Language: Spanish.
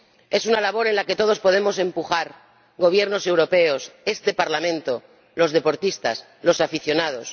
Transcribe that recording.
Es una labor en la que todos podemos empujar ―Gobiernos europeos, este Parlamento, los deportistas, los aficionados―.